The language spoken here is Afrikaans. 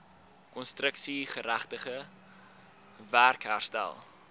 konstruksiegerigte werk herstel